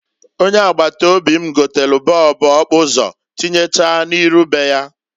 Ọnye agbata obi m gotelu bọọbu okpuso tinyechaa n'iru be ya.